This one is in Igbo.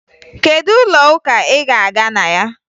Kedu ụlọụka ị ga-aga na ya?